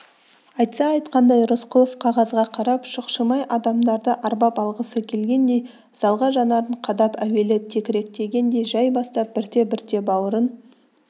айтса-айтқандай рысқұлов қағазға қарап шұқшимай адамдарды арбап алғысы келгендей залға жанарын қадап әуелі текіректегендей жай бастап бірте-бірте бауырын